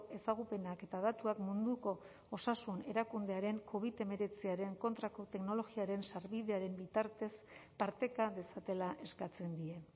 ezagupenak eta datuak munduko osasun erakundearen covid hemeretziaren kontrako teknologiaren sarbidearen bitartez parteka dezatela eskatzen die